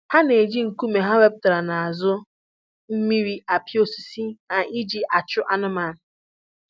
Ha na-eji nkume ha wetara n'azụ mmiri apị osisi ha ji achị anụmanụ